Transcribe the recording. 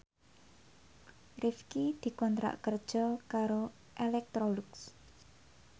Rifqi dikontrak kerja karo Electrolux